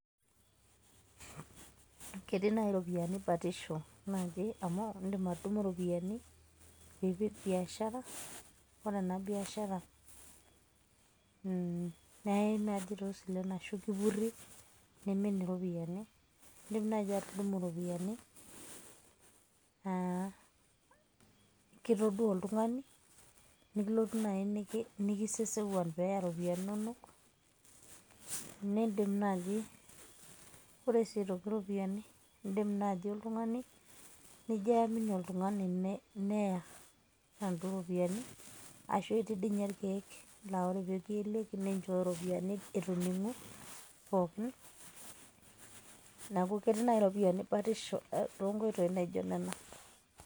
ketii naai iropiyiani batisho au idim atudumu iropiyiani, nipik biashara. ore ena biashara neyae naaji toosilen, ashu kipuri neiemin iropiyiani. idim naaji atudumu iropiyiani kitoduaa oltungani, nikilotu naji nikisesekuan pee neya iropiyiani inonok. ore sii aitoki iropiyiani idim naaji oltungani nijo aamini oltungani, neya inaduo ropiyiani, ashu etii dii ninye irkeek, laa ore pee kieleki ninchooyo ropiyiani eitu iningu pookin. neku ketii naaji iropiyiani batisho too nkoitoi naijo nena.